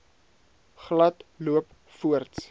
glad loop voorts